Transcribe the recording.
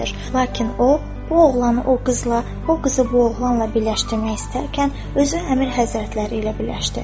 Lakin o, bu oğlanı o qızla, o qızı bu oğlanla birləşdirmək istərkən özü Əmir Həzrətləri ilə birləşdi.